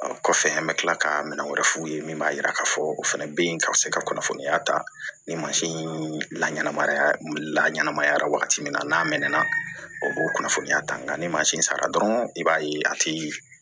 Kɔfɛ an bɛ tila ka minɛn wɛrɛ f'u ye min b'a jira k'a fɔ o fana bɛ ka se ka kunnafoniya ta ni la ɲɛnamaya la ɲɛnamaya wagati min na n'a mɛnna o kunnafoniya ta nga ni mansin sara dɔrɔn i b'a ye a ti